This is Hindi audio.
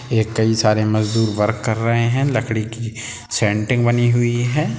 एक कई सारे मजदूर वर्क कर रहे है लकड़ी की सेन्टीन्ग बनी हुई है।